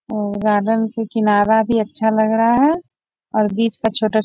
और आदम का किनारा भी अच्छा लग रहा है और बीच का छोटा --